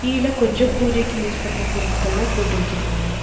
கீழ கொஞ்சம் பூஜைக்கு யூஸ் பண்ற பொருட்கள்லா போட்டு வச்சிருக்காங்க.